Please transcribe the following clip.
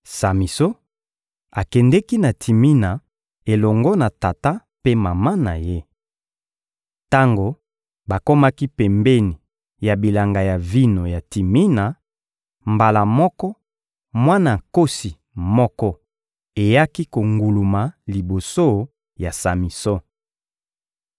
Samison akendeki na Timina elongo na tata mpe mama na ye. Tango bakomaki pembeni ya bilanga ya vino ya Timina, mbala moko, mwana nkosi moko eyaki konguluma liboso ya Samison.